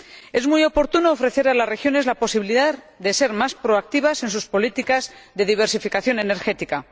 Es muy oportuno ofrecer a las regiones la posibilidad de ser más proactivas en sus políticas de diversificación energética.